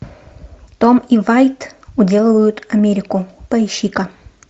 том и вайт уделывают америку поищи ка